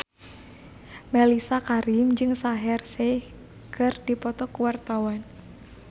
Mellisa Karim jeung Shaheer Sheikh keur dipoto ku wartawan